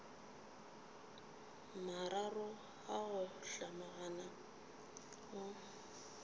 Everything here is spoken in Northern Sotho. mararo a go hlomagana o